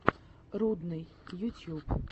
рудный ютьюб